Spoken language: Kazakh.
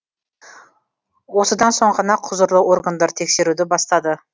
осыдан соң ғана құзырлы органдар тексеруді бастады